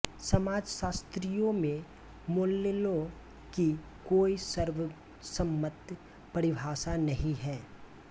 समाजशास्त्रियों में मोलल्लों की कोई सर्वसम्म्त परिभाषा नहीं है